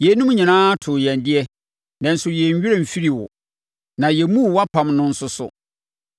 Yeinom nyinaa too yɛn deɛ, nanso yɛn werɛ mfirii wo, na yɛmmuu wʼapam no nso so.